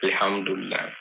Ɛl hamidulila